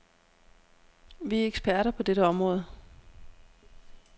Vi er eksperter på dette område.